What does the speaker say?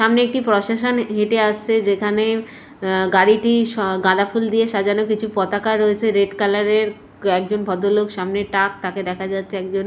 সামনে একটি পোসেশন হেঁটে আসছে যেখানে আ গাড়িটি গাঁদা ফুল দিয়ে সাজানো কিছু পতাকা রয়েছে রেড কালারের একজন ভদ্রলোক সামনে টাক তাকে দেখা যাচ্ছে একজন--